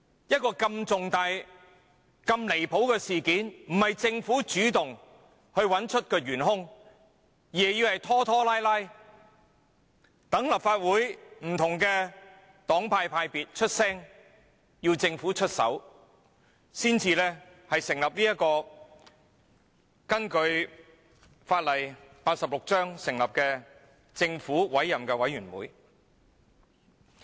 如此離譜的重大事件不是由政府主動尋找原兇，而是拖拖拉拉由立法會不同派別的議員提出要求，政府才肯出手根據香港法例第86章成立調查委員會。